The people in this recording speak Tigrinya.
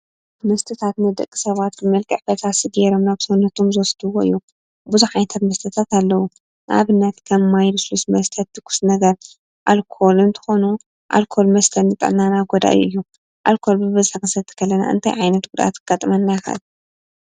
መስተታት ንደቂ ሰባት ብመልክዕ ፈሳሲ ገይሮም ናብ ሰውነቶም ዝወስድዎ እዩ፡፡ ብዙሕ ዓይነት መስተታት ኣለው፡፡ ንኣብነት ከም ማይን፣ ልስሉስ መስተ ፣ትኩስ ነገር ኣልኮል እንትኾኑ ኣልኮል መስተ ንጥዕናና ጎዳኢ እዩ፡፡ ኣልኮል ብበዝሒ ክንሰቲ ከለና እንታይ ዓይነት ጉድኣት ከጋጥመና ይኽእል?